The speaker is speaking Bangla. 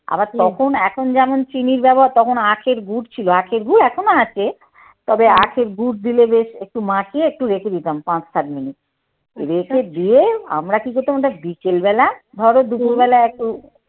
আবার তখন এখন যেমন চিনির ব্যাবহার তখন আখের গুড় ছিল আঁখের গুড় এখনো আছে তবে আখের গুড় দিলে বেশ একটু মাখিয়ে একটু রেখে দিতাম পাঁচ সাত মিনিট। রেখে দিয়ে আমরা কি করতাম ওটা বিকেলবেলা ধরো দুপুরবেলা একটু